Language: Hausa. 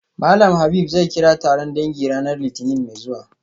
Malam Habib zai kira taron dangi ranar litinin mai zuwa